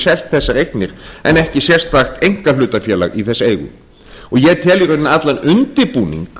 selt þessar eignir en ekki sérstakt einkahlutafélag í þess eigu og ég tel í rauninni allan undirbúning